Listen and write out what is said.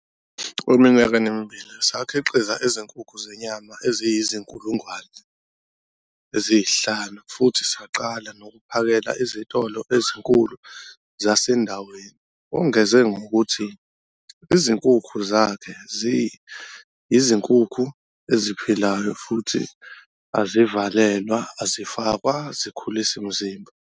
"Eminyakeni emibili, sakhiqiza izinkukhu zenyama eziyizi-5 000 futhi saqala nokuphakela izitolo ezinkulu zasendaweni." Wongeze ngokuthi izinkukhu zakhe yizinkukhu eziphilayo futhi azivalelwa, azifakwa zikhulisimzimba.